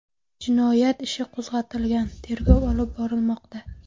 Jinoyat ishi qo‘zg‘atilgan, tergov olib borilmoqda.